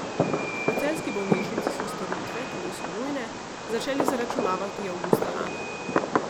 V celjski bolnišnici so storitve, ki niso nujne, začeli zaračunavati avgusta lani.